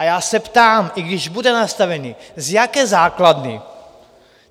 A já se ptám, i když bude nastavený, z jaké základny?